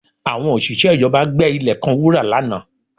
Àwọn òṣìṣẹ́ ìjọba gbẹ ilẹ̀ kan wúrà lánàá